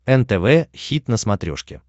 нтв хит на смотрешке